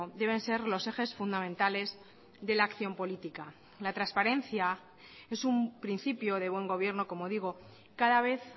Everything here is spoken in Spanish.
deben ser los ejes fundamentales de la acción política la transparencia es un principio de buen gobierno como digo cada vez